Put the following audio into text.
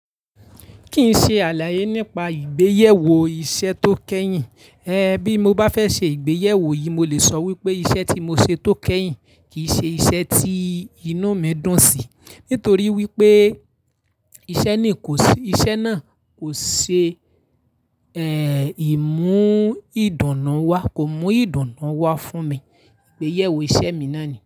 Kìí ṣe àlàyé nípa ìgbéyèwò iṣẹ́ tó kẹ́yìn. Ẹ̀ bí mo bá fẹ́ ṣe ìgbéyèwò yìí, mo lè sọ wípé iṣẹ́ tí mo ṣe tó kẹ́yìn, kìí ṣe iṣẹ́ tí inú mi dùn sí. Nítorí wípé iṣẹ́ náà kò ṣe ẹ̀, ìmú ìdùnnú wá, kò mú ìdùnnú wá fún mi. Ìgbéyèwò iṣẹ́ mi náà ni.